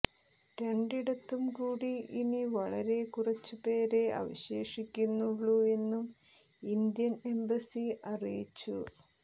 രണ്ടിടത്തും കൂടി ഇനി വളരെ കുറച്ചുപേരെ അവശേഷിക്കുന്നുള്ളൂ എന്നും ഇന്ത്യൻ എംബസി അറിയിച്ചു